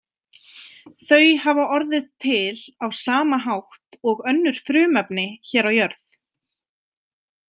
Þau hafa orðið til á sama hátt og önnur frumefni hér á jörð.